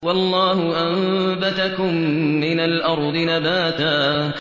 وَاللَّهُ أَنبَتَكُم مِّنَ الْأَرْضِ نَبَاتًا